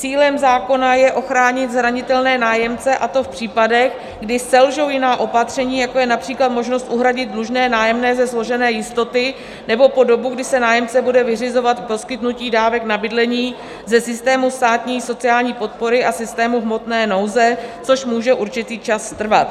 Cílem zákona je ochránit zranitelné nájemce, a to v případech, kdy selžou jiná opatření, jako je například možnost uhradit dlužné nájemné ze složené jistoty, nebo po dobu, kdy si nájemce bude vyřizovat poskytnutí dávek na bydlení ze systému státní sociální podpory a systému hmotné nouze, což může určitý čas trvat.